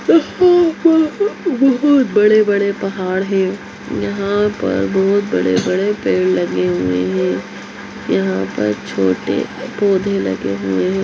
इहु हूँ इहु हूँ बहुत बड़े-बड़े पहाड़ है यहाँ पर बहुत बड़े-बड़े पेड़ लगे हुए है यहाँ पर छोटे पौधे लगे हुए है।